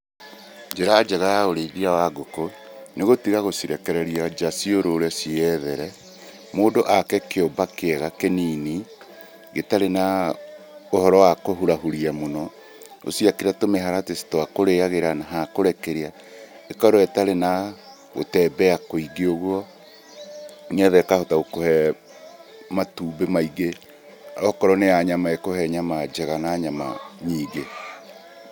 Njĩra njega ya ũrĩithia wa ngũkũ, nĩ gũtiga gũcirekereria nja ciũrũre ciĩyethere. Mũndũ ake kĩũmba kĩega kĩnini, gĩtarĩ na ũhoro wa kũhurahuria mũno, ũciakĩre tũmĩharatĩ twa kũrĩagĩra na hakũrekeria, ĩkorwo itarĩ na gũtembea kũingĩ ũguo, nĩgetha ikahota gũkũhe matumbĩ maingĩ, okorwo nĩ ya nyama ĩkuhe nyama njega na nyama nyingĩ.